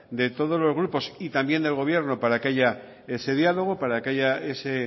de todos los grupos y también del gobierno para que haya ese diálogo para que haya ese